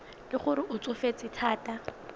le gore o tsofetse thata